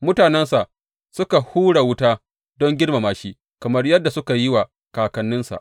Mutanensa suka hura wuta don girmama shi, kamar yadda suka yi wa kakanninsa.